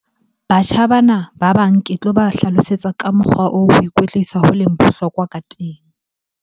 Batjha bana ba bang ke tloba hlalosetsa ka mokgwa oo ho ikwetlisa ho leng bohlokwa ka teng.